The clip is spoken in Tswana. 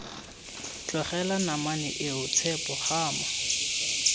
tlogela namane eo tshepo gama